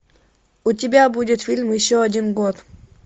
у тебя будет фильм еще один год